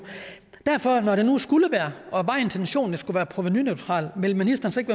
når nu det skulle være og var intentionen at det skulle være provenuneutralt vil ministeren så ikke